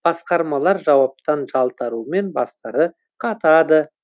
басқармалар жауаптан жалтарумен бастары қатады